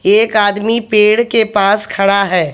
एक आदमी पेड़ के पास खड़ा है।